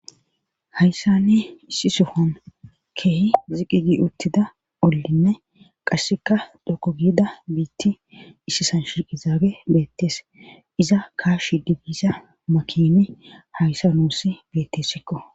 Hayssa ne issi sohon keehi ziqigi uttida ollinne qasseka dokko giida biitti issi san shiiqi zaage beettees iza kashi digiza makimi hayssa nuusi bettessikko.